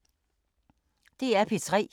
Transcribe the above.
DR P3